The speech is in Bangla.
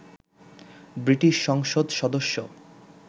ব্রিটিশ সংসদ সদস্য